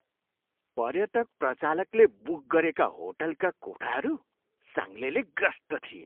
पर्यटक प्रचालकले बुक गरेका होटलका कोठाहरू साङ्लेले ग्रस्त थिए।